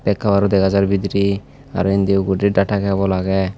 kabar dega jar bidirey aro indi data kabol agey.